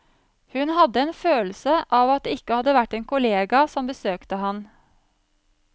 Hun hadde en følelse av at det ikke hadde vært en kollega som besøkte ham.